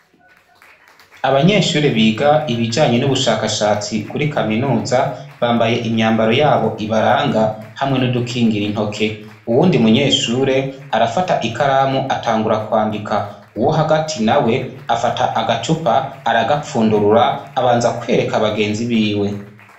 Abanyeshure biga ibijanye n'ubushakashatsi kuri kaminuza bambaye imyambaro yabo ibaranga hamwe n'udukingira intoke uwundi munyeshure arafata ikaramu atangura kwandika uwo hagati na we afata agacupa aragapfundurura abanza kwereka abagenzi biwe.